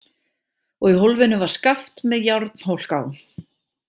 Og í hólfinu var skaft með járnhólk á.